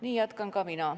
Nii jätkan ka mina.